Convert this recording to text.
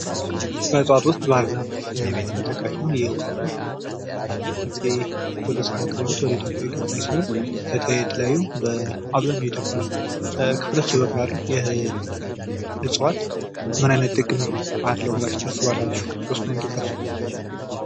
ከእፅዋት ውስጥ ባህር ዛፍ ተጠቃሽ ነው ።ይህ ባህር ዛፍ በአፄ ቴዎድሮስ አማካኝነት ወደ ኢትዮጵያ የገባ ሲሆን በአብዛኛው የኢትዮጵያ ክፍሎች ይበቅላሉ። ይህ እፅዋት ምን ጥቅም አለው ብላችሁ ታስባላችሁ። ሶስቱን ጥቀሱ?